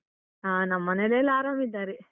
ಹ ನಮ್ಮನೆಯಲ್ಲೆಲ್ಲ ಆರಾಮ್ ಇದ್ದಾರೆ.